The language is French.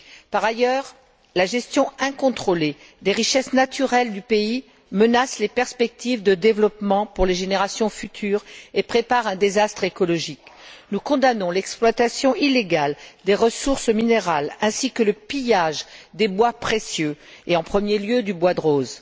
Par ailleurs, la gestion incontrôlée des richesses naturelles du pays menace les perspectives de développement pour les générations futures et prépare un désastre écologique. Nous condamnons l'exploitation illégale des ressources minérales ainsi que le pillage des bois précieux et, en premier lieu, du bois de rose.